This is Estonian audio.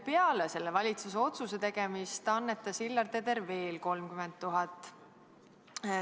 Peale selle valitsuse otsuse tegemist annetas Hillar Teder veel 30 000.